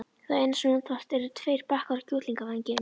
Það eina sem þú þarft eru tveir bakkar af kjúklingavængjum.